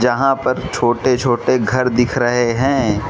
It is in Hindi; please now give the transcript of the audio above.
यहां पर छोटे छोटे घर दिख रहे हैं।